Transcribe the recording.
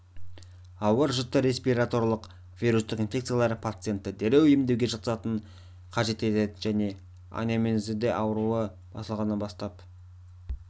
ауыр жіті респираторлық вирустық инфекциялар пациентті дереу емдеуге жатқызуды қажет ететін және анамнезінде ауру басталғаннан бастап